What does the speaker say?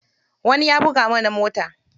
Wani ya buga mana mota.